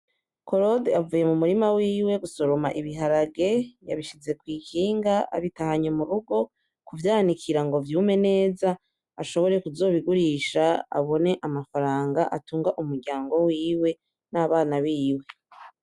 Korode avuye mumurima wiwe gusoroma ibiharage yabishize kwikinga ,abitahanye murugo kuvyanikirango vyume neza ashobore kuzobigurisha abone amafranga atunga umuryango wiwe n’abana biwe .